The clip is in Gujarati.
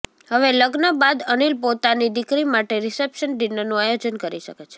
હવે લગ્ન બાદ અનિલ પોતાની દીકરી માટે રિસેપ્શન ડિનરનું આયોજન કરી શકે છે